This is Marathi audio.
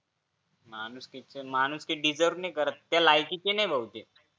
माणुसकीच्या माणुसकी diserve नाही करत भाऊ ते त्या लायकीचे नाही ये भाऊ ते